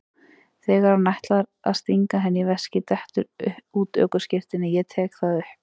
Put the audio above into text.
Þegar hann ætlar að stinga henni í veskið dettur út ökuskírteinið, ég tek það upp.